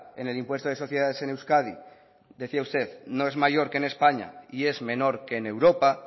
en el impuesto de sociedades en euskadi decía usted no es mayor que en españa y es menor que en europa